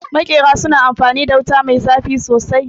Maƙera su na amfanin da wuta mai zafi sosai